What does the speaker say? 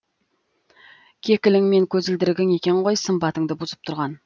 кекілің мен көзілдірігің екен ғой сымбатыңды бұзып тұрған